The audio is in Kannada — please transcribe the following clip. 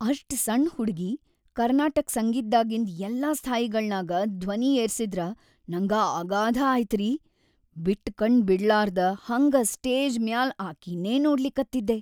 ಅಷ್ಟ್ ಸಣ್‌ ಹುಡಗಿ ಕರ್ನಾಟಕ್‌ ಸಂಗೀತ್ದಾಗಿಂದ್‌ ಎಲ್ಲಾ ಸ್ಥಾಯಿಗಳ್ನಾಗ ಧ್ವನಿ ಏರಸಿದ್ರ ನಂಗ ಅಗಾಧ ಆಯ್ತರಿ, ಬಿಟ್ಟಕಣ್ ಬಡಿಲಾರ್ದ್ ಹಂಗ ಸ್ಟೇಜ್‌ ಮ್ಯಾಲ್ ಅಕೀನ್ನೇ ನೋಡ್ಲಿಕತ್ತಿದ್ದೆ.